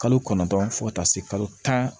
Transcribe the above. Kalo kɔnɔntɔn fo ka taa se kalo tan